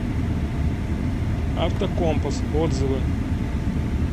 автокомпас отзывы